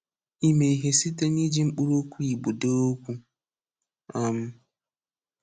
Ịmẹ ihe site niji mkpụrụokwu Igbo dee okwu. um